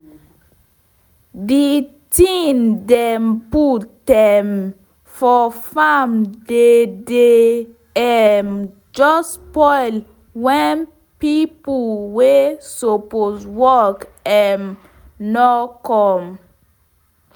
de tin dem put um for farm dey dey um jus spoil wen pipo wey suppose work um nor come